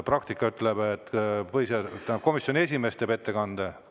Praktika ütleb, et komisjoni esimees teeb ettekande.